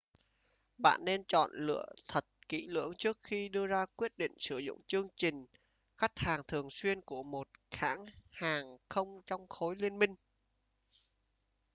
bạn nên chọn lựa thật kỹ lưỡng trước khi đưa ra quyết định sử dụng chương trình khách hàng thường xuyên của một hãng hàng không trong khối liên minh